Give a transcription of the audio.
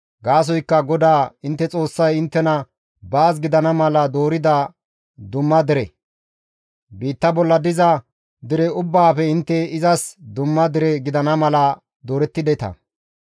Gaasoykka GODAA intte Xoossay inttena baas gidana mala doorida dumma dere; biitta bolla diza dere ubbaafe intte izas dumma dere gidana mala doorettideta.